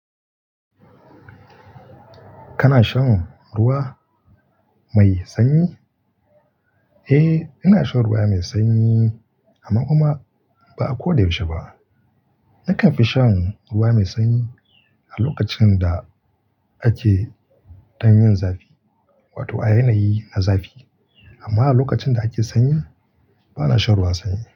Kana shan ruwa mai sanyi? Eh, ina shan ruwa mai sanyi amma kuma ba a ko da yaushe ba. Nakan fi shan ruwa mai sanyi a lokacin da ake, ɗan yin zafi, wato a yanayi na zafi. Amma a lokacin da ake sanyi, bana shan ruwan sanyi.